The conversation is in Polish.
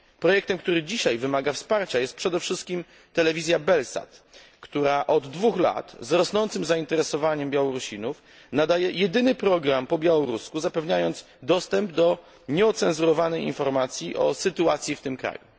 Projektem, który dzisiaj wymaga wsparcia jest przede wszystkim telewizja Belsat, która od dwóch lat z rosnącym zainteresowaniem Białorusinów nadaje jedyny program po białorusku, zapewniając dostęp do nieocenzurowanej informacji o sytuacji w tym kraju.